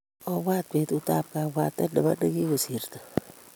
Obwat betut tab kabwatet nebo nigigosirto